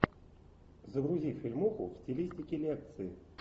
загрузи фильмуху в стилистике лекции